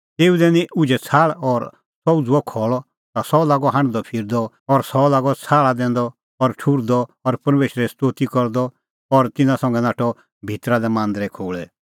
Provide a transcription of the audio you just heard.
तेऊ दैनी उझै छ़ाहल़ और सह उझ़ुअ खल़अ ता सह लागअ हांढदअफिरदअ और सह लागअ छ़ाहल़ा दैंदअ और ठुहर्दअ और परमेशरे स्तोती करदअ और तिन्नां संघै नाठअ भितरा लै मांदरे खोल़ै